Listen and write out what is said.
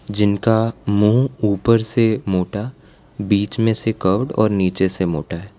जिनका मुंह ऊपर से मोटा बीच में से कर्व्ड और नीचे से मोटा है।